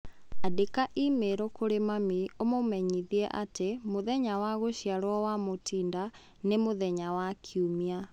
Andĩka i-mīrū kũrĩ mami ũmũmenyithie atĩ mũthenya wa gũciarwo kwa Mutinda nĩ mũthenya wa Kiumia